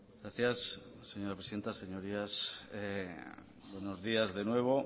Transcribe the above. gracias señora presidenta señorías buenos días de nuevo